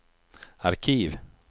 arkiv